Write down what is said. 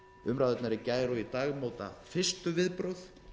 umræðurnar í gær og í dag móta fyrstu viðbrögð